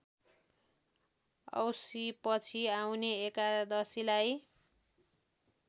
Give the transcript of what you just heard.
औँसीपछि आउने एकादशीलाई